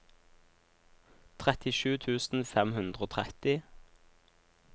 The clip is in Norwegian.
trettisju tusen fem hundre og tretti